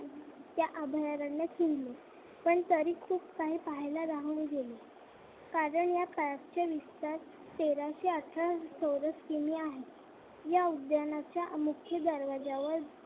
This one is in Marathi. अभयारण्यात केली पण तरी खूप राहून गेले कारण या विस्तार तेराशे अठरा चौरस किमी आहे. या उद्यानाच्या मुख्य दरवाज्यावर